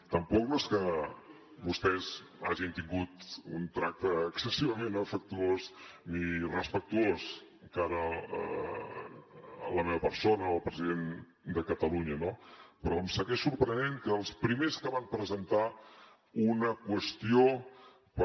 tampoc no és que vostès hagin tingut un tracte excessivament afectuós ni respectuós de cara a la meva persona o al president de catalunya no però em segueix sorprenent que els primers que van presentar una qüestió per